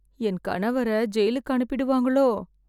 என் கணவர ஜெயிலுக்கு அனுப்பிடுவாங்களோ